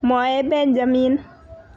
Mwae Benjamin